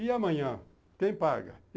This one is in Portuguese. E amanhã, quem paga?